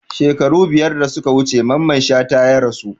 Shekaru biyar da suka wuce Mamman Shata ya rasu